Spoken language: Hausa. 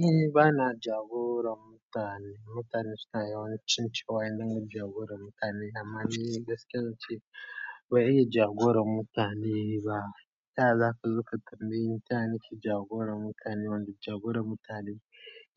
Ni ba na jagorar mutane. Mutane suna yawancin cewa indinga jagorar mutane amma ni gaskiya ce bai yi jagorar mutane ba. Taya zaga zo da za ka zuga turmi, tana ki jagorar mutane. Wanda jagorar mutane